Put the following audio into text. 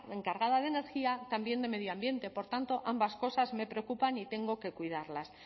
encargada de energía también de medioambiente por tanto ambas cosas me preocupan y tengo que cuidarlas